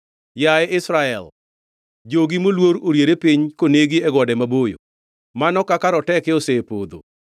“Yaye Israel, jogi moluor oriere piny konegi e gode maboyo. Mano kaka roteke osepodho.